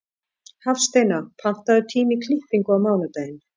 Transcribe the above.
Hafsteina, pantaðu tíma í klippingu á mánudaginn.